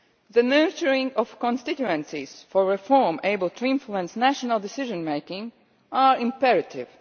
The nurturing of constituencies for reform able to influence national decision making is imperative.